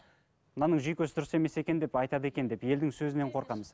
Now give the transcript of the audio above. мынаның жүйкесі дұрыс емес екен деп айтады екен деп елдің сөзінен қорқамыз